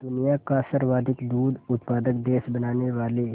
दुनिया का सर्वाधिक दूध उत्पादक देश बनाने वाले